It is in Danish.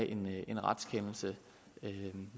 egentlig narrer hvem